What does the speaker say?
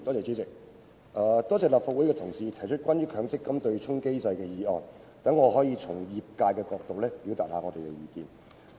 主席，多謝立法會的同事提出關於"取消強制性公積金對沖機制"的議案，讓我可以從業界的角度表達我們的意見。